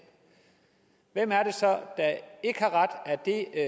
hvem er det så der ikke har ret er det